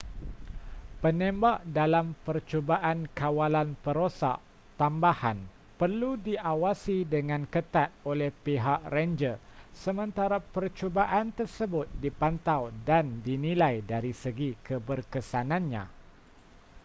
penembak dalam percubaan kawalan perosak tambahan perlu diawasi dengan ketat oleh pihak renjer sementara percubaan tersebut dipantau dan dinilai dari segi keberkesanannya